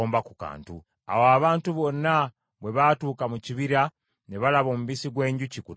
Awo abantu bonna bwe baatuuka mu kibira ne balaba omubisi gw’enjuki ku ttaka.